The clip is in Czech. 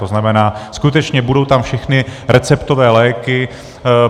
To znamená, skutečně tam budou všechny receptové léky.